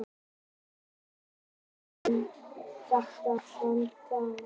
Vinir hans voru vel meðvitaðir um þetta vandamál.